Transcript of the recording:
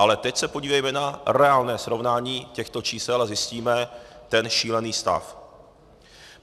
Ale teď se podívejme na reálné srovnání těchto čísel a zjistíme ten šílený stav.